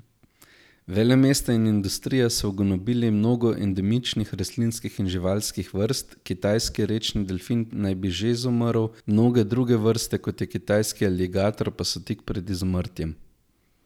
Velemesta in industrija so ugonobili mnogo endemičnih rastlinskih in živalskih vrst, kitajski rečni delfin naj bi že izumrl, mnoge druge vrste, kot je kitajski aligator, pa so tik pred izumrtjem.